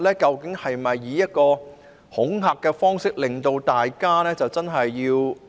究竟是否想以一種恐嚇的方式來令大家遵從呢？